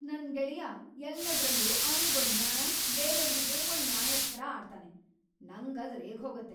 ನನ್ ಗೆಳೆಯ ಎಲ್ಲದ್ರಲ್ಲೂ ಅವ್ನಿಗೊಂದ್ ನ್ಯಾಯ ಬೇರೇವ್ರಿಗೇ ಒಂದ್‌ ನ್ಯಾಯದ್‌ ಥರ ಆಡ್ತಾನೆ, ನಂಗ್‌ ಅದ್‌ ರೇಗ್ಹೋಗತ್ತೆ.